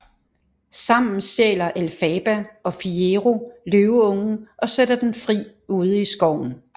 Sammen stjæler Elphaba og Fiyero løveungen og sætter den fri ude i skoven